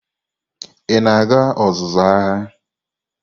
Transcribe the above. Ị na-aga ọzụzụ agha?